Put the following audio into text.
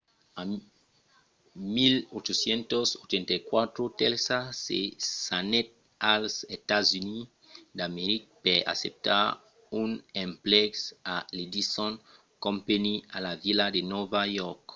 en 1884 tesla se s'anèt als estats units d'america per acceptar un emplec a l'edison company a la vila de nòva york